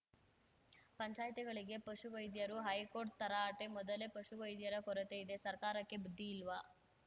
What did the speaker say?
ಪಂಚಾಯ್ತಿಗಳಿಗೆ ಪಶುವೈದ್ಯರು ಹೈಕೋರ್ಟ್‌ ತರಾಟೆ ಮೊದಲೇ ಪಶುವೈದ್ಯರ ಕೊರತೆ ಇದೆ ಸರ್ಕಾರಕ್ಕೆ ಬುದ್ಧಿ ಇಲ್ವಾ